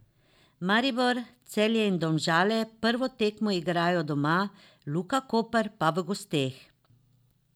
Maribor, Celje in Domžale prvo tekmo igrajo doma, Luka Koper pa v gosteh.